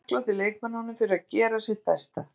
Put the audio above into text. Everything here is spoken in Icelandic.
Þeir eru þakklátir leikmönnunum fyrir að gera sitt besta.